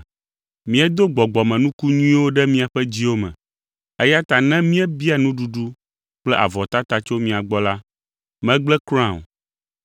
Míedo gbɔgbɔmenuku nyuiwo ɖe miaƒe dziwo me, eya ta ne míebia nuɖuɖu kple avɔtata tso mia gbɔ la, megblẽ kura o.